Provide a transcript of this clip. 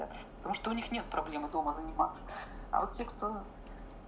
а что у них нет проблемы дома заниматься а вот те кто